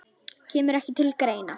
Kemur ekki til greina